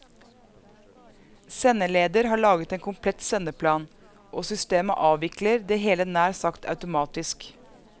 Sendeleder har laget en komplett sendeplan og systemet avvikler det hele nær sagt automatisk.